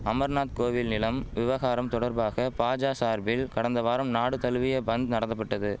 அமர்நாத் கோவில் நிலம் விவகாரம் தொடர்பாக பாஜா சார்பில் கடந்த வாரம் நாடு தழுவிய பந்த் நடத்தபட்டது